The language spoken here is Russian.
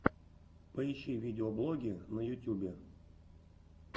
поищи видеоблоги на ютюбе